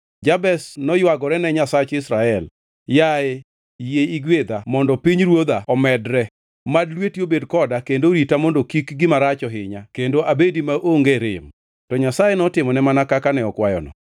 Jabez noywagorene Nyasach Israel, “Yaye, yie igwedha mondo pinyruodha omedre! Mad lweti obed koda kendo orita mondo kik gima rach ohinya kendo abedi maonge rem.” To Nyasaye notimone mana kaka ne okwayono.